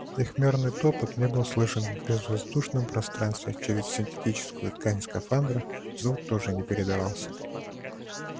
их мерный топот не был слышен в безвоздушном пространстве а через синтетическую ткань скафандра звук тоже не передавался